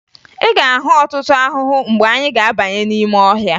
Ị ga-ahụ ọtụtụ ahụhụ mgbe anyị ga-abanye n'ọhịa